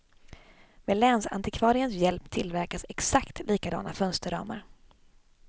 Med länsantikvariens hjälp tillverkas exakt likadana fönsterramar.